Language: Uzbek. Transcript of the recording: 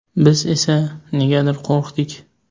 Biz esa, negadir qo‘rqdik.